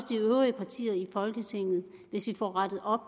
de øvrige partiers i folketinget hvis vi får rettet op